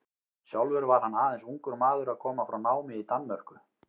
Sjálfur var hann aðeins ungur maður að koma frá námi í Danmörku.